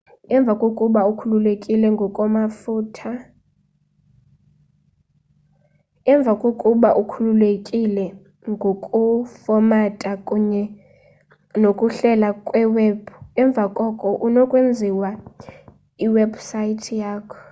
emva kokuba ukhululekile ngokufomatha kunye nokuhlela kwiwebhu emva koko unokwenza iwebhusayithi yakho